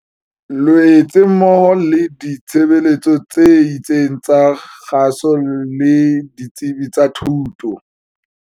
Loetse mmoho le ditshebeletso tse itseng tsa kgaso le ditsebi tsa thuto.